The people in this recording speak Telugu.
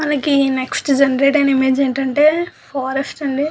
మనకి నెక్స్ట్ జెనెరేట్ ఐన ఇమేజ్ ఏంటంటే ఫారెస్ట్ అండి.